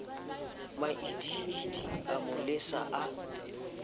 maidiidi a mo lesa a